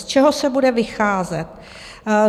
Z čeho se bude vycházet?